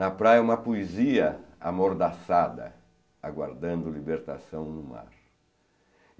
Na praia uma poesia amordaçada, aguardando libertação no mar.